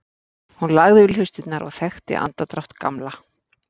Hún lagði við hlustirnar og þekkti andardrátt Gamla.